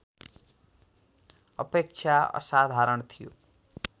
अपेक्षा असाधारण थियो